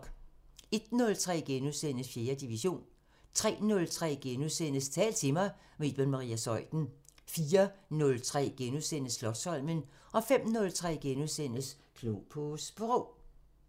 01:03: 4. division * 03:03: Tal til mig – med Iben Maria Zeuthen * 04:03: Slotsholmen * 05:03: Klog på Sprog *